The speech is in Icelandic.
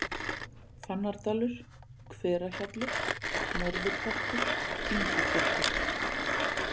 Fannardalur, Hverahjalli, Norðurpartur, Inguklettur